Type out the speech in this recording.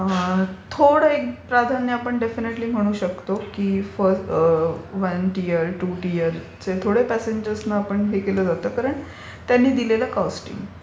थोडं एक प्राधान्य आपण म्हणू शकतो की वन टियर, टू टियरच्या थोड्या प्यासेंजर्स न हे केलं जातं कारण त्यांनी दिलेलं कोस्टिंग.